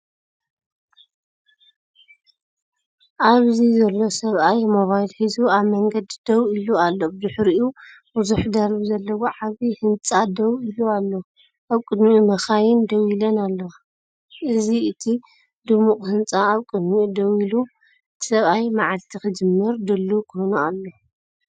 ኣብዚ ዘሎ ሰብኣይ ሞባይል ሒዙ ኣብ መንገዲ ደው ኢሉ ኣሎ። ብድሕሪኡ ብዙሕ ደርቢ ዘለዎ ዓቢ ህንጻ ደው ኢሉኣሎ። ኣብ ቅድሚኡ መካይን ደው ኢለን ኣለዋ። እዚእቲ ድሙቕ ህንጻ ኣብ ቅድሚኡ ደው ኢሉ፤ እቲ ሰብኣይ መዓልቲ ክጅምር ድሉው ኮይኑ ኣሎ።